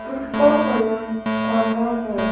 जिसका कलर काला है।